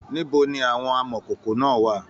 Níbo ní àwọn amọkókó náà wà?